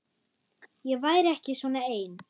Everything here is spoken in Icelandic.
Ég væri ekki svona ein.